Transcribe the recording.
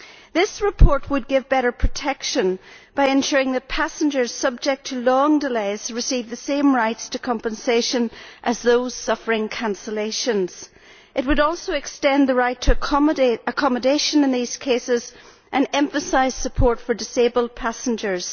This report would give better protection by ensuring that passengers subject to long delays receive the same rights to compensation as those suffering cancellations. It would also extend the right to accommodation in these cases and emphasise support for disabled passengers.